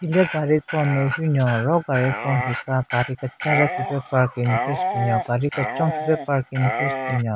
Hile gaari tson nme hyu nyon ro gaari tson hika gaari kechacha khipe parking thyu shyu binyon gaari kechon khipe parking thyu shyu binyon.